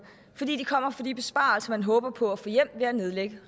fordi de kommer fra de besparelser man håber på at få hjem ved at nedlægge